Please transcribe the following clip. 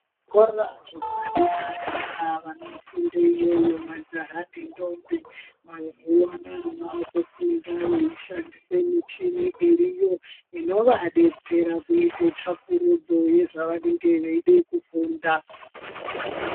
Zvikora zvepadera-dera vanofunde iyoyo majaha nentombi mazuwaanaa vakufunda veishandise michini iriyo inovadetsera kuite tsvakurudzo yezvavanenge veide kufunda.